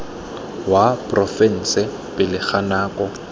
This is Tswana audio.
wa porofense pele ga nako